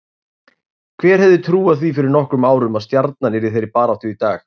Hver hefði trúað því fyrir nokkrum árum að Stjarnan yrði í þeirri baráttu í dag?